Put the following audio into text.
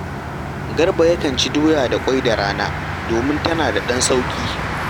Garba yakan ci doya da ƙwai da rana domin tana da ɗan sauƙi